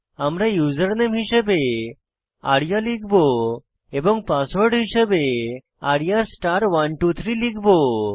আমরা ইউজারনেম হিসাবে আরিয়া লিখব এবং পাসওয়ার্ড হিসাবে arya123 লিখব